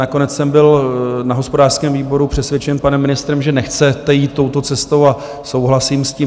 Nakonec jsem byl na hospodářském výboru přesvědčen panem ministrem, že nechcete jít touto cestou, a souhlasím s tím.